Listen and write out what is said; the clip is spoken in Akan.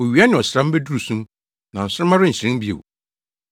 Owia ne ɔsram beduru sum, na nsoromma renhyerɛn bio.